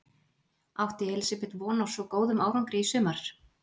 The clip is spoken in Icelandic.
Átti Elísabet von á svo góðum árangri í sumar?